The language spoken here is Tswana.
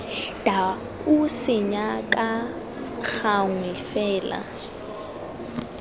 dau senya ka gangwe fela